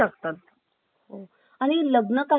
आणि लग्न कार्यालयामध्ये सुद्धा